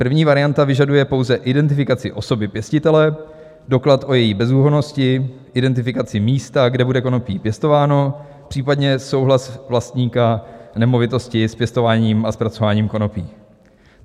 První varianta vyžaduje pouze identifikaci osoby pěstitele, doklad o její bezúhonnosti, identifikaci místa, kde bude konopí pěstováno, případně souhlas vlastníka nemovitosti s pěstováním a zpracováním konopí.